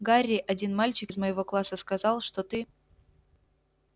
гарри один мальчик из моего класса сказал что ты